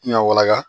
N ya wala